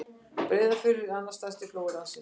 Breiðafjörður er annar stærsti flói landsins.